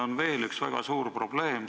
On veel üks väga suur probleem.